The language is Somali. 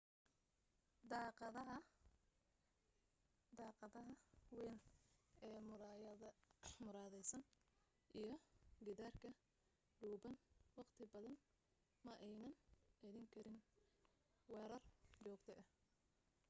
daaqadaheeda weyn ee muraayadaysan iyo gidaarka dhuuban wakhti badan ma aynan celin karin weerar joogto ah